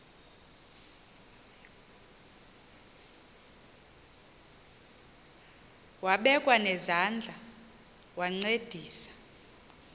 wabekwa nezandls wancedisa